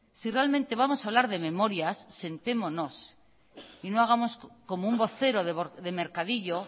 si realmente vamos a hablar de memorias sentémonos y no hagamos como un vocero de mercadillo